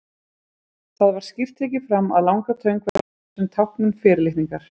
Þar var skýrt tekið fram að langatöng væri notuð sem táknmynd fyrirlitningar.